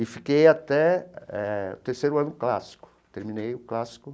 E fiquei até eh o terceiro ano clássico, terminei o clássico.